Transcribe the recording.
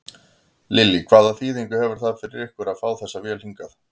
Lillý: Hvaða þýðingu hefur það fyrir ykkur að fá þessa vél hingað?